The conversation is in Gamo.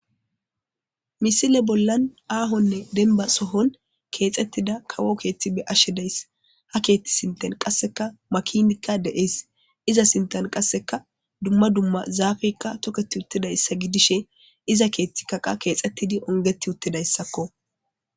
misile bollan aahonne denba sohon keexettida kawo keethi be 'ashshe deyss ha keethti sinten qasseka makinikka deees iza sinten qasseka dumma dumma zaafeykka toketi uttidayssa gidishe iza keethti kaqa keexettidi ongeti uttidayssakko